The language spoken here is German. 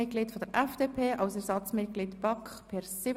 Kilian Baumann mit 110 Stimmen